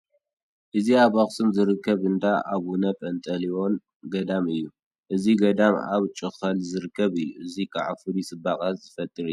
እዚ ኣብ ኣኽሱም ዝርከብ እንዳ ኣቡነ ጰንጠሌዎን ገዳም እዩ፡፡ እዚ ገዳም ኣብ ጩኸል ዝርከብ እዩ፡፡ ስለዚ ከዓ ፍሉይ ፅባቐ ዝፈጠረ እዩ፡፡